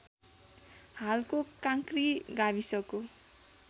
हालको काँक्री गाविसको